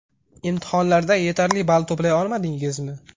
Imtihonlarda yetarli ball to‘play olmadingizmi?